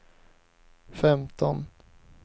femton